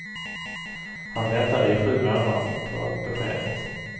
Han väntade i sju månader på beskedet.